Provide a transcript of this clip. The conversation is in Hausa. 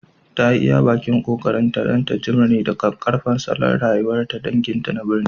Ta yi iya ƙoƙarinta don ta jimre da ƙaƙƙarfan salon rayuwa na sabon danginta na birni